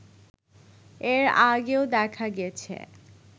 এর আগেও দেখা গেছে